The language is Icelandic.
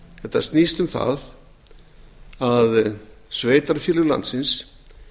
þetta snýst um það að sveitarfélög landsins